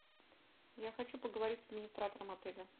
я хочу поговорить с администратором отеля